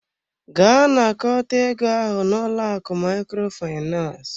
Gaa nakọta ego ahụ n'ụlọ akụ Microfinance!